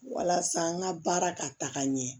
Walasa n ka baara ka taga ɲɛ